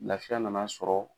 Lafiya nana sɔrɔ.